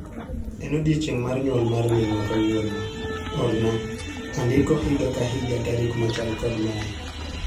En odiechieng' mar nyuol mar minwa kawuono, orna andiko higa ka higa tarik machal kod mae